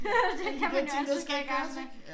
Det kan man altid gå i gang med